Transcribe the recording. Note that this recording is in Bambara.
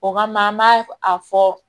O kama an b'a a fɔ